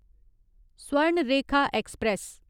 Swarnarekha express